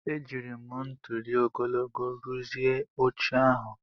Ejiri m ntuli ogologo rụzie oche ahụ.